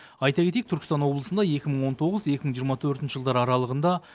айта кетейік түркістан облысында екі мың он тоғыз екі мың жиырма төртінші жылдар аралығында